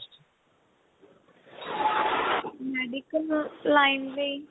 medical line ਲਈ